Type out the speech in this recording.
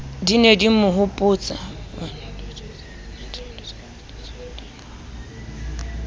di ne di mo hopotsa